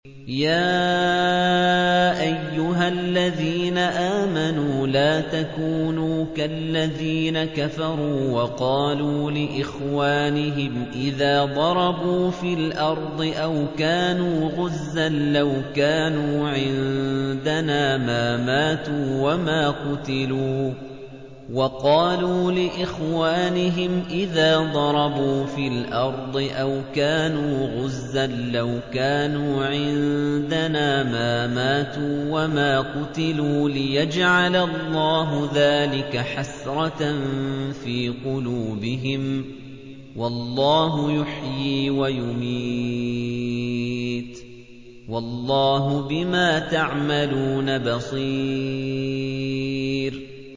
يَا أَيُّهَا الَّذِينَ آمَنُوا لَا تَكُونُوا كَالَّذِينَ كَفَرُوا وَقَالُوا لِإِخْوَانِهِمْ إِذَا ضَرَبُوا فِي الْأَرْضِ أَوْ كَانُوا غُزًّى لَّوْ كَانُوا عِندَنَا مَا مَاتُوا وَمَا قُتِلُوا لِيَجْعَلَ اللَّهُ ذَٰلِكَ حَسْرَةً فِي قُلُوبِهِمْ ۗ وَاللَّهُ يُحْيِي وَيُمِيتُ ۗ وَاللَّهُ بِمَا تَعْمَلُونَ بَصِيرٌ